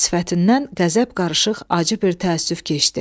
Sifətindən qəzəb qarışıq acı bir təəssüf keçdi.